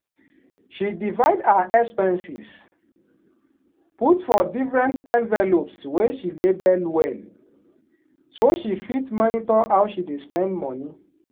she divide her expenses put for different envelopes wey she label well so she fit monitor how she dey spend money.